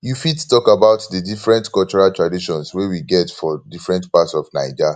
you fit talk about di different cultural traditions wey we get for different parts of naija